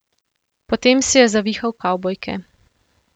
Potem si je zavihal kavbojke.